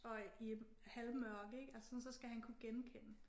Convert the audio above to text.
Og i en halvmørke ik altså sådan så skal han kunne genkende